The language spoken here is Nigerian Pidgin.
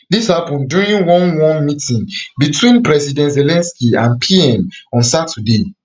dis happun during one one meeting between president zelensky and pm on saturday